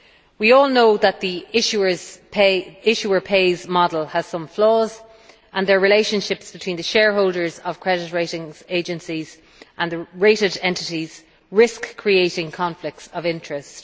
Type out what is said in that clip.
We all know that the issuer pays' model has some flaws, and that relationships between the shareholders of credit rating agencies and the rated entities risk creating conflicts of interest.